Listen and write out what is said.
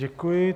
Děkuji.